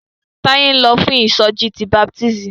Táyé ń lọ fún ìsọjí ti baptisti.